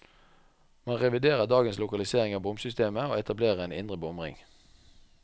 Man reviderer dagens lokalisering av bomsystemet, og etablerer en indre bomring.